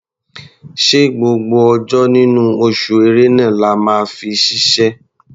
Ṣé gbogbo ọjọ́ nínú oṣù Ẹ̀rẹnà la máa fi ṣiṣẹ́?